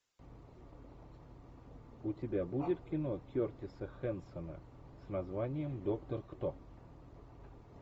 у тебя будет кино кертиса хэнсона с названием доктор кто